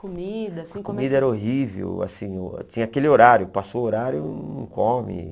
Comida, assim, como é que... Comida era horrível, assim, tinha aquele horário, passou o horário, não come.